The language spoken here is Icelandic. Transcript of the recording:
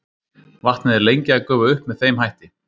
vatnið er lengi að gufa upp með þeim hætti